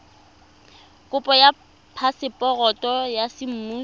kopo ya phaseporoto ya semmuso